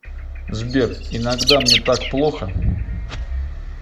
сбер иногда мне так плохо